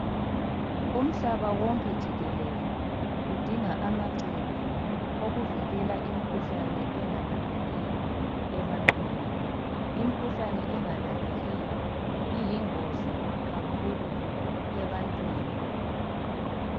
umhlaba wonke jikelele udinga amacebo okuvikela imkhuhlane engalaphekiyo ebantwini imkhuhlane engalaphekiyo iyingozi kakhulu ebantwini